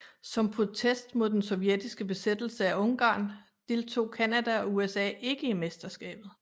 Som protest mod den sovjetiske besættelse af Ungarn deltog Canada og USA ikke i mesterskabet